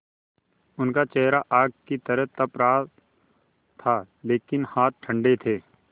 उनका चेहरा आग की तरह तप रहा था लेकिन हाथ ठंडे थे